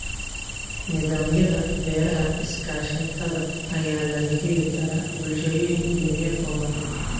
Nidaamyada beeraha iskaashatada ayaa laga heli karaa bulshooyin yar yar oo badan.